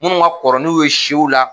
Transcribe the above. Minnu ka kɔrɔ n'u ye siw la